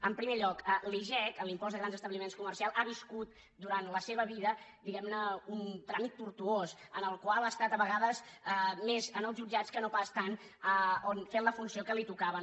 en primer lloc l’igec l’impost de grans establiments comercials ha viscut durant la seva vida diguem ne un tràmit tortuós en el qual ha estat de vegades més en els jutjats que no pas tant fent la funció que li tocava